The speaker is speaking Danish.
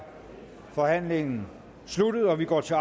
forhandlingen sluttet og vi går til